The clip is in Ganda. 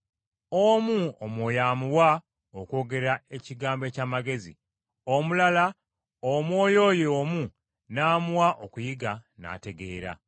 Omu Omwoyo amuwa okwogera ekigambo eky’amagezi, omulala Omwoyo oyo omu n’amuwa okuyiga n’ategeera.